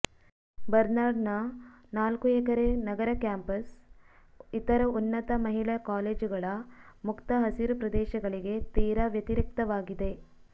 ಬರ್ನಾರ್ಡ್ನ ನಾಲ್ಕು ಎಕರೆ ನಗರ ಕ್ಯಾಂಪಸ್ ಇತರ ಉನ್ನತ ಮಹಿಳಾ ಕಾಲೇಜುಗಳ ಮುಕ್ತ ಹಸಿರು ಪ್ರದೇಶಗಳಿಗೆ ತೀರಾ ವ್ಯತಿರಿಕ್ತವಾಗಿದೆ